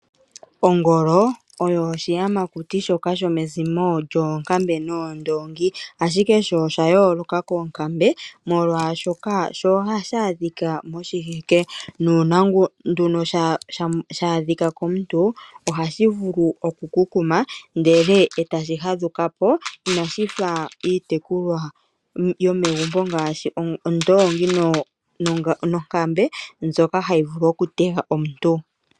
Ongolo oyo oshiyamakuti shoka shomezimo lyoonkambe noondoongi, ashike sho osha yooloka koonkambe, molwashoka ohashi adhika moshikunino shiinamwenyo nuuna nduno sha adhika komuntu ohashi vulu okukukuma ndele e tashi fadhuka po, inashi fa iitekulwanamwenyo ngaashi ondoongi nonkambe mbyoka hayi vulu okutega omuntu.